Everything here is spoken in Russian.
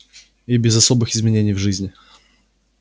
и без особых изменений в жизни